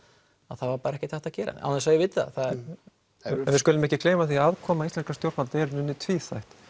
það var bara ekkert hægt að gera án þess að ég viti það en við skulum ekki gleyma því að aðkoma íslenskra stjórnvalda er í raun tvíþætt